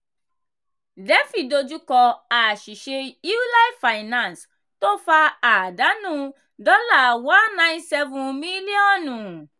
cs] "defi" dojú kọ àṣìṣe "euler finance" tó fa àdánù dollar one nine seven mílíọ̀nù.